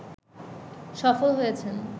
সফল হয়েছেন